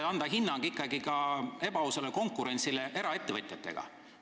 Ja kuidas ikkagi hinnata ebaausat konkurentsi eraettevõtjatega?